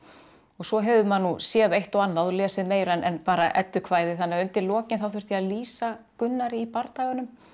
svo hefur maður nú séð eitt og annað og lesið meira en bara eddukvæði þannig að undir lokin þurfti ég að lýsa Gunnari í bardaganum